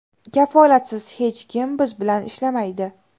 Kafolatsiz hech kim biz bilan ishlamaydi.